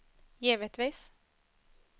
givetvis